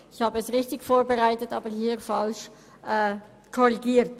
Ich hatte es richtig vorbereitet, aber dann hier falsch nachkorrigiert.